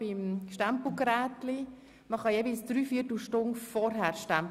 Wir können jeweils eine Dreiviertelstunde vor Sitzungsbeginn stempeln.